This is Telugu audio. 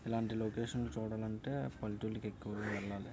ఇలాంటి లొకేషన్ చూడాలంటే పల్లెటూరికి ఎక్కువ వెళ్లాలి.